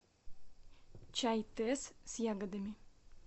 чай тесс с ягодами